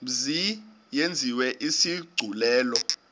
mzi yenziwe isigculelo